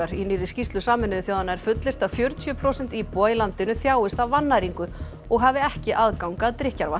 í nýrri skýrslu Sameinuðu þjóðanna er fullyrt að fjörutíu prósent íbúa í landinu þjáist af vannæringu og hafi ekki aðgang að drykkjarvatni